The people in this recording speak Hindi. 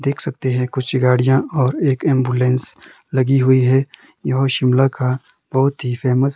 देख सकते हैं कुछ गाड़ियां और एक एंबुलेंस लगी हुई है यह शिमला का बहुत ही फेमस --